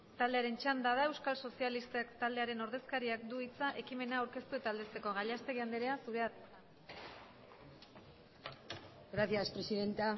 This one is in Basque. txanda da euskal sozialisten taldearen ordezkariak du hitza ekimena aurkeztu eta aldezteko gallastegui andrea zurea da hitza gracias presidenta